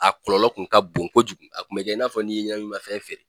A kɔlɔlɔ kun ka bon kojugu a kun bɛkɛ i n'a fɔ n'i ye ɲɛnaminimafɛn feere.